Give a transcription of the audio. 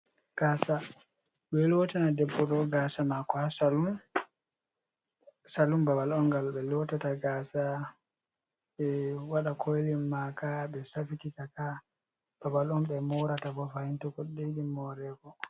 Gasa ɓeɗo lotina debbo ɗo gasa mako ha salun, salun babal on gal ɓe lotata gasa, ɓe waɗa koilin maka ɓe safita ka babal on ɓe morata fahin to goɗɗo yiɗi morego